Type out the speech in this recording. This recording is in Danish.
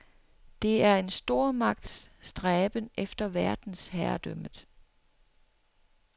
Det er en stormagts stræben efter verdensherredømmet.